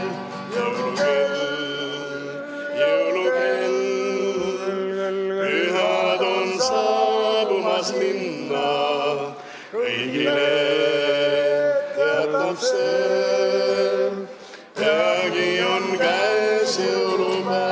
Jõulukell, jõulukell, pühad on saabumas linna, kõigile teatab see, peagi on käes jõulupäev.